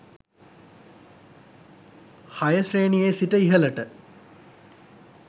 6 ශ්‍රේණියේ සිට ඉහළට